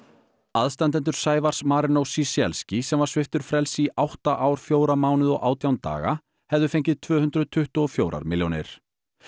aðstandendur Sævars Marinós Ciesielski sem var sviptur frelsi í átta ár fjóra mánuði og átján daga hefðu fengið tvö hundruð tuttugu og fjögur milljónir